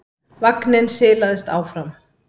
Vagninn silaðist áfram.